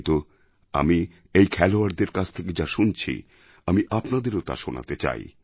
কিন্তু আমি এই খেলোয়াড়দের কাছ থেকে যা শুনছি আমি আপনাদের তা শোনাতে চাই